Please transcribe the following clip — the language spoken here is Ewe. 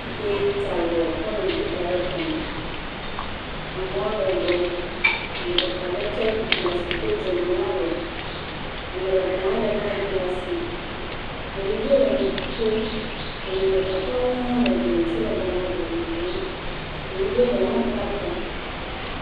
… Ta avɔ, kɔ nu blu da ɖe kɔme, amewo le gbɔ, ame ɖeka lé tsɛk buk le asi, do dzonu le alɔ, ame ɖeka hã lé maik le asi, nyɔnuvie le nu kom, nɔnɔmetata aɖewo hã le glie ŋuti le gama vovovowo, nyɔnuvie ɖeka hã bla ta.